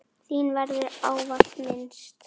Þín verður ávallt minnst.